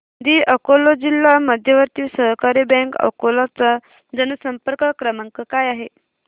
दि अकोला जिल्हा मध्यवर्ती सहकारी बँक अकोला चा जनसंपर्क क्रमांक काय आहे